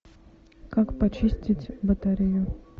как почистить батарею